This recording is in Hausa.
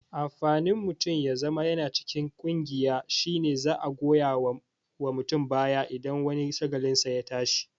Amfanin mutum ya zama yana cikin ƙungiya shine za'a goya wa mutum baya idan wani shagalinsa ya tashi